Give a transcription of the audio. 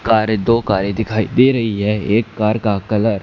कारे दो कारे दिखाई दे री है एक कार का कलर --